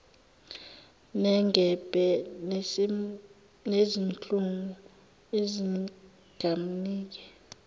nengebhe nezinhlungu zingamnike